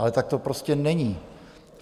Ale tak to prostě není.